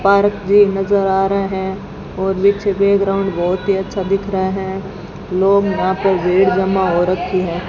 Park जी नज़र आ रहे हैं और पीछे बैकग्राउंड बहोत ही अच्छा दिख रहा है लोग वहां पर भीड़ जमा हो रखी है।